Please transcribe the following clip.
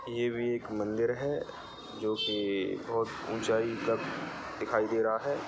ये भी एक मंदिर है जो कि बहोत ऊंचाई तक दिखाई दे रहा है।